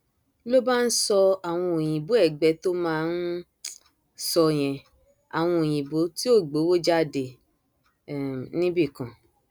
ọnàrẹbù abogun ló ti kọkọ ṣe kọmíkànnà fáwọn nǹkan àlùmọọnì ìjọba ìpínlẹ ọyọ lásìkò ìsejọba olóògbé ajímọbí